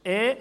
Punkt 2.e